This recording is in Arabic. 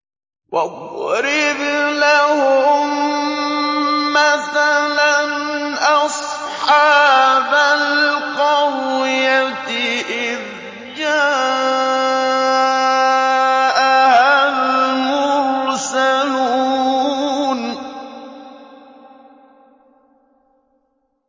وَاضْرِبْ لَهُم مَّثَلًا أَصْحَابَ الْقَرْيَةِ إِذْ جَاءَهَا الْمُرْسَلُونَ